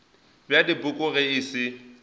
bja dipoko ge e se